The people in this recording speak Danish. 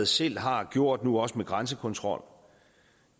selv har gjort nu også med grænsekontrol